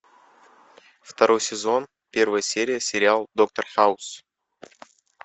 второй сезон первая серия сериал доктор хаус